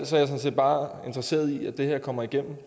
sådan set bare interesseret i at det her kommer igennem